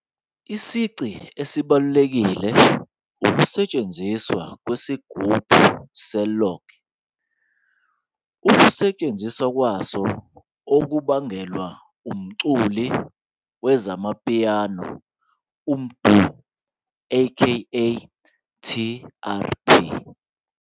Isici esibalulekile sohlobo ukusetshenziswa "kwesigubhu se-log", ukusetshenziswa kwayo okubangelwa umculi we-amapiano MDU a.k.a TRP.